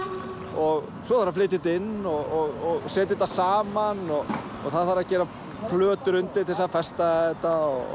og svo er að flytja þetta inn og setja þetta saman og það þarf að gera plötur undir til þess að festa þetta